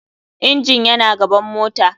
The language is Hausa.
Engine yana gaban mota.